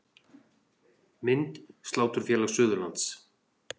Mynd: Sláturfélag Suðurlands